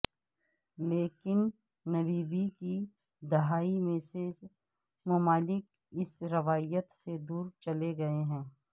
لیکن نببی کی دہائی میں بہت سے ممالک اس روایت سے دور چلے گئے ہیں